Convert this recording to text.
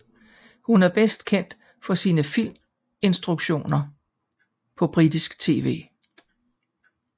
Hun er bedst kendt for sine filminstruktioner på britisk tv